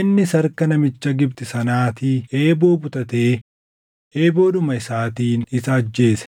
Innis harka namicha Gibxi sanaatii eeboo butatee eeboodhuma isaatiin isa ajjeese.